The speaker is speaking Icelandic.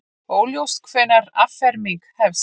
Óljóst hvenær afferming hefst